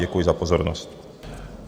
Děkuji za pozornost.